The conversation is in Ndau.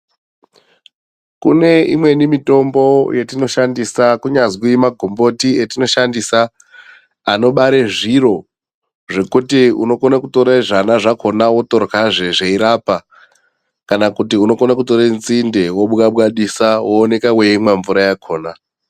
Kune imweni mitombo yatinoshandisa kunyazwi magomboti atinoshandisa anobare zviro zvekuti unogone kutore zvana zvakona otorya zveirapa kana kuti unokone kutore nzinde wobwabadisa wooneka weimwa mvura yakona.